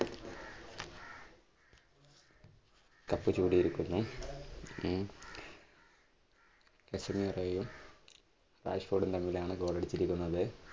cup ചൂടിയിരിക്കുന്ന ഉം കസൻഹീറോയും രാജ്കോട്ട് തമ്മിലാണ് goal ടിച്ചിരിക്കുന്നത്.